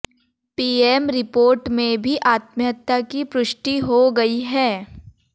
PM report में भी आत्महत्या की पुष्टि हो गई है